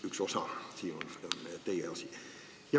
Üks osa sellest on teie asi.